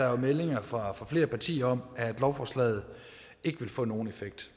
er meldinger fra flere partier om at lovforslaget ikke vil få nogen effekt